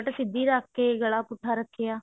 ਸਿੱਧੀ ਰੱਖ ਕਿ ਗਲਾ ਪੁੱਠਾ ਰੱਖਿਆ